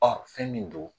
Ɔ fɛn min don